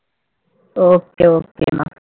okay okay மா